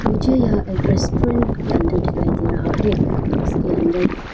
मुझे यह एक रेस्टोरेंट के अंदर दिखाई दे रहा है उसके अंदर--